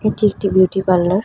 এটি একটি beauty parlour.